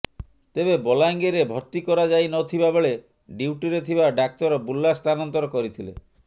ତେବେ ବଲାଙ୍ଗିରରେ ଭର୍ତ୍ତି କରାଯାଇନଥିବା ବେଳେ ଡ୍ୟୁଟିରେ ଥିବା ଡାକ୍ତର ବୁର୍ଲା ସ୍ଥାନାନ୍ତର କରିଥିଲେ